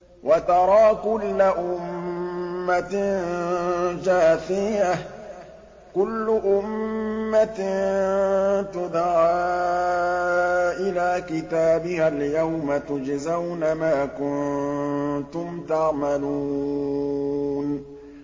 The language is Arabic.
وَتَرَىٰ كُلَّ أُمَّةٍ جَاثِيَةً ۚ كُلُّ أُمَّةٍ تُدْعَىٰ إِلَىٰ كِتَابِهَا الْيَوْمَ تُجْزَوْنَ مَا كُنتُمْ تَعْمَلُونَ